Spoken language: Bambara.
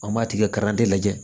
An b'a tigɛ lajɛ